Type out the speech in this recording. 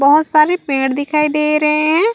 बहोत सारे पेड़ दिखाई दे रहे है।